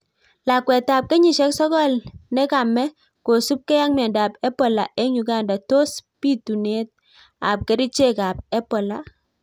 Lakwet ap kenyisiek sokol nekamee kosupgei ak miandap Ebola eng Uganda tos pitunet ap kericheek ap Ebola?